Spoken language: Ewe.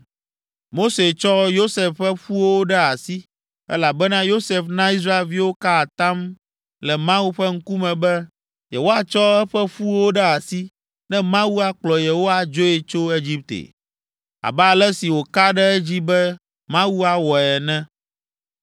Mose tsɔ Yosef ƒe ƒuwo ɖe asi, elabena Yosef na Israelviwo ka atam le Mawu ƒe ŋkume be yewoatsɔ eƒe ƒuwo ɖe asi ne Mawu akplɔ yewo adzoe tso Egipte, abe ale si wòka ɖe edzi be Mawu awɔe ene.